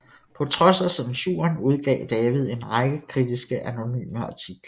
På trods af censuren udgav David en række kritiske anonyme artikler